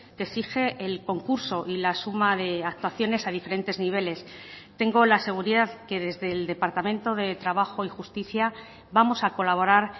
que exige el concurso y la suma de actuaciones a diferentes niveles tengo la seguridad que desde el departamento de trabajo y justicia vamos a colaborar